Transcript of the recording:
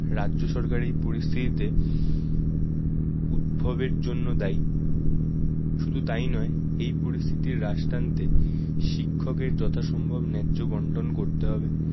রাজ্য সরকার এই পরিস্থিতিতে উদ্ভবের জন্য দায়ী শুধু তাই নয় এই পরিস্থিতির হ্রাস টানতে শিক্ষকের যথাসম্ভব ন্যায্য বন্টন করতে হবে।